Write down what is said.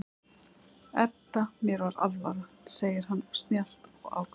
Edda, mér var alvara, segir hann snjallt og ákveðið.